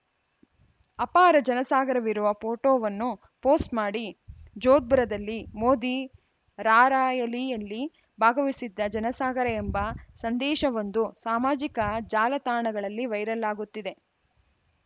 ಅಪಾರ ಜನಸಾಗರವಿರುವ ಫೋಟೋವನ್ನು ಪೋಸ್ಟ್‌ ಮಾಡಿ ಜೋದ್ಪುರದಲ್ಲಿ ಮೋದಿ ರಾರ‍ಯಲಿಯಲ್ಲಿ ಭಾಗವಹಿಸಿದ್ದ ಜನಸಾಗರ ಎಂಬ ಸಂದೇಶವೊಂದು ಸಾಮಾಜಿಕ ಜಾಲತಾಣಗಳಲ್ಲಿ ವೈರಲ್‌ ಆಗುತ್ತಿದೆ